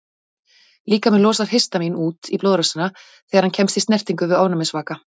Líkaminn losar histamín út í blóðrásina þegar hann kemst í snertingu við ofnæmisvaka.